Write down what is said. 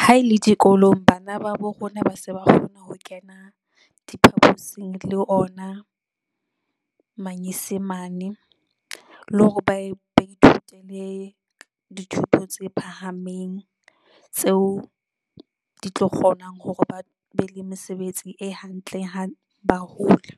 Ha ele dikolong, bana ba bo rona ba se ba kgona ho kena diphaposing le ona, manyesemane, le hore ba ba ithute le dithuto tse phahameng tseo, di tlo kgonang hore ba be le mesebetsi e hantle ha ba hola.